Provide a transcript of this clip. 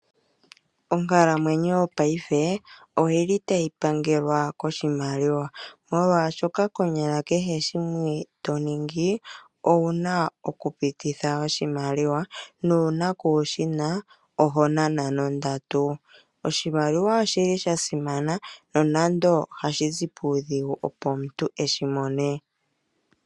Onkalamwenyo yopaife oyili tayi pangelwa koshimaliwa, molwaashoka konyala kehe shimwe to ningi owuna oku pititha oshimaliwa nuuna kuushina oho nana nondatu. Oshimaliwa oshili sha simana no nando ohashi zi kiidhishi opo omuntu eshi mone.